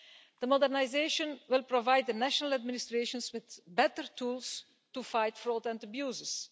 The modernisation will provide the national administrations with better tools to fight fraud and abuses.